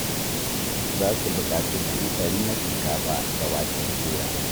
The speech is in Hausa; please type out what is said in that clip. Za su buƙaci buhu ɗari na shinkafa da waken soya.